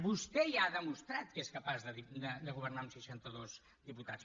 vostè ja ha demostrat que és capaç de governar amb seixantados diputats